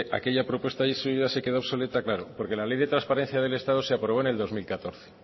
aquella propuesta suya se quedó obsoleta claro porque la ley de transparencia del estado se aprobó en el dos mil catorce